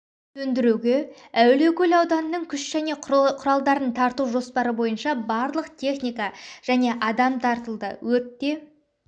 сөндіруге әулиекөл ауданының күш және құралдарын тарту жоспары бойынша барлық техника және адам тартылды өртте